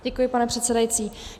Děkuji, pane předsedající.